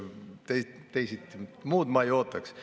Muud ma teilt ei ootaks.